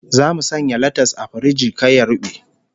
Zamu sanya latas a firiji kar ya rube